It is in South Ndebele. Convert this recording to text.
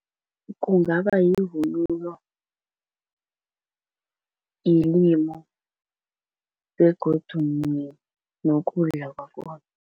Kungabayivunulo yelimi begodu nokudla kwakhona.